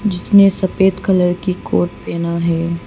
जिसने सफेद कलर की कोट पहना है।